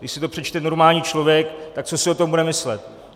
Když si to přečte normální člověk, tak co si o tom bude myslet?